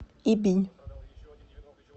ибинь